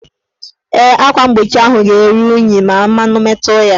Ee, akwa mgbochi ahụ ga-eru unyi ma mmanụ metu ya.